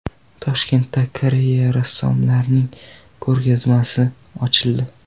Toshkentda Koreya rassomlarining ko‘rgazmasi ochildi .